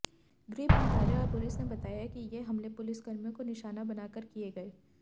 गृह मंत्रालय और पुलिस ने बताया कि ये हमले पुलिसकर्मियों को निशाना बनाकर किए गए